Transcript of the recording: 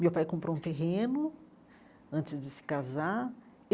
Meu pai comprou um terreno antes de se casar.